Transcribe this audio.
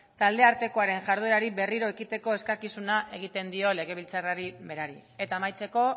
taldeartekoaren jarduerari berriro ekiteko eskakizuna egiten dio legebiltzarrari berari eta amaitzeko